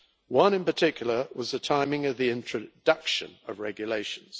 One in particular was the timing of the introduction of regulations.